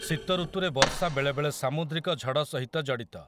ଶୀତଋତୁରେ ବର୍ଷା ବେଳେବେଳେ ସାମୁଦ୍ରିକ ଝଡ଼ ସହିତ ଜଡ଼ିତ ।